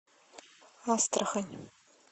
астрахань